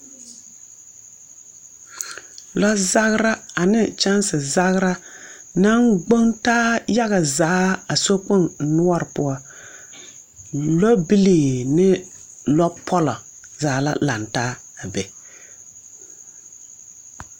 Lazagera a ne kyɛnse zagera naŋ gboŋ taa yaga zaa a sokpoŋ noɔre poɔ. lɛ bilii ane lɔ pɔlɔ zaa la laŋ taa abe.